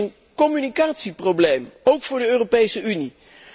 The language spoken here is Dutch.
En dat is een communicatieprobleem, ook voor de Europese Unie.